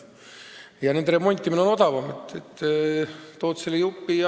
Ja nende remontimine on odavam, kusagilt ikka tood vajaliku jupi.